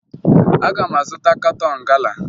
Aga m azụta katọn gala